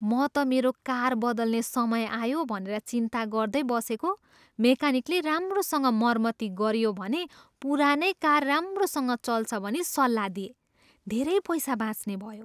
म त मेरो कार बदल्ने समय आयो भनेर चिन्ता गर्दै बसेको, मेकानिकले राम्रोसँग मर्मती गरियो भने पुरानै कार राम्रोसँग चल्छ भनी सल्लाह दिए। धेरै पैसा बाँच्ने भयो।